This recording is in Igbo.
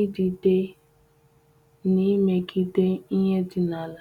idide n’emegide ihe di n’ala.